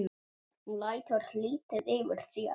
Hún lætur lítið yfir sér.